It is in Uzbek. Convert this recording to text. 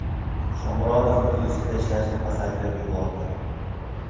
Shomurodov o‘z ustida ishlashni pasaytirib yubordi.